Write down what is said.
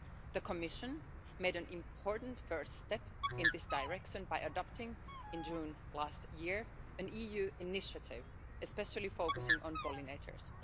The Commission took an important first step in this direction by adopting in June last year an EU initiative especially focusing on pollinators.